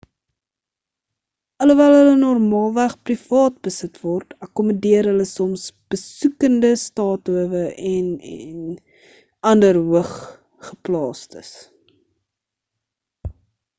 alhoewel hulle normaalweg privaat besit word akkommodeer hulle soms besoekende staathowe en en ander hooggeplaastes